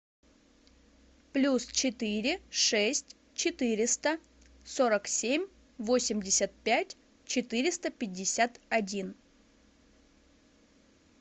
плюс четыре шесть четыреста сорок семь восемьдесят пять четыреста пятьдесят один